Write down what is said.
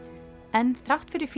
en þrátt fyrir